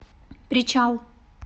причал